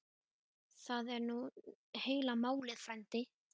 Það er nú heila málið frændi.